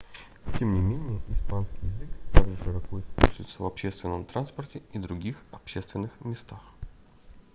тем не менее испанский язык также широко используется в общественном транспорте и других общественных местах